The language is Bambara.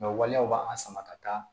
waleyaw b'an sama ka taa